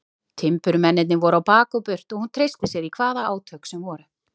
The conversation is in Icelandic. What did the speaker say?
Timburmennirnir voru á bak og burt og hún treysti sér í hvaða átök sem voru.